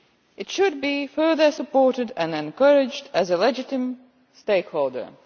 It should be further supported and encouraged as a legitimate stakeholder.